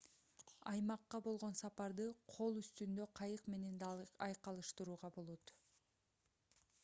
аймакка болгон сапарды көл үстүндө кайык менен да айкалыштырууга болот